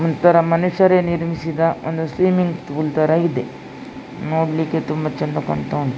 ಒಂತರ ಮನುಷ್ಯರೇ ನಿರ್ಮಿಸಿದ ಒಂದು ಸ್ವಿಮ್ಮಿಂಗ್ ಫೂಲ್ ತರ ಇದೆ ನೋಡ್ಲಿಕ್ಕೆ ತುಂಬಾ ಚೆಂದ ಕಾಣ್ತಾ ಉಂಟು.